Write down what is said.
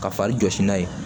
Ka fali jɔsi n'a ye